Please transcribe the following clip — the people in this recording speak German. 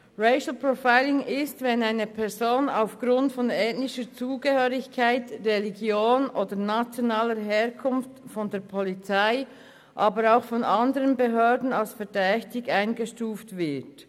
Racial Profiling ist, wenn eine Person aufgrund von ethnischer Zugehörigkeit, Religion oder nationaler Herkunft von der Polizei, aber auch von anderen Behörden als verdächtig eingestuft wird.